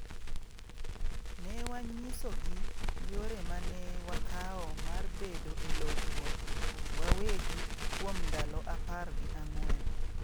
Ne wanyisogi yore ma ne wakawo mar bedo e lorruok wawegi kuom ndalo apar gi ang'wen.